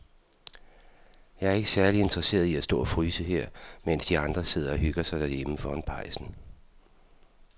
Jeg er ikke særlig interesseret i at stå og fryse her, mens de andre sidder og hygger sig derhjemme foran pejsen.